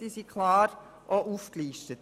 Sie sind auch klar aufgelistet.